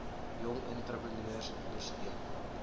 jong entrepreneurs ondersteun